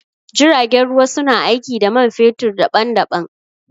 Jiragen ruwa su na aiki da man fetur daɓan-daɓan.